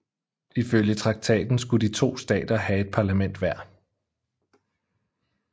Ifølge traktaten skulle de to stater have et parlament hver